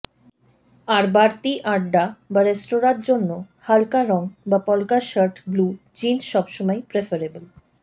আর বাড়তি আড্ডা বা রেস্তোরার জন্যে হালকা রঙ বা পলকা শার্ট ব্লু জিন্স সবসময়ই প্রেফেরেবল